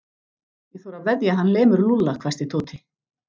Ég þori að veðja að hann lemur Lúlla hvæsti Tóti.